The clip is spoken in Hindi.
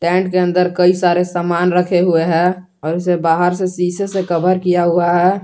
कैंट के अंदर कई सारे सामान रखे हुए हैं और उसे बाहर से शीशे से कवर किया हुआ है।